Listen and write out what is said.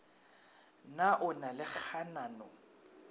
na o na le kganano